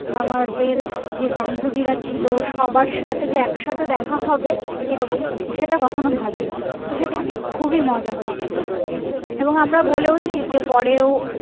আমাদের যে বান্ধবি রা ছিলো সবার সাথে যে একসাথে দেখা হবে এরকম সেটা কখনো ভাবিনি তো সেদিনকে খুবই মজা হয়েছিলো এবং আমরা বলেওছি যে পরেও আবার যখন